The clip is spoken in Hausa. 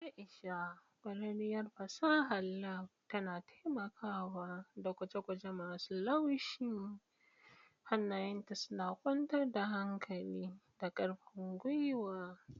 Aisha, ƙwararriyar fasahar lab, tana taimakawa da gwaje-gwaje masu laushi, hannayenta suna kwantar da hankali da ƙarfin gwiwa.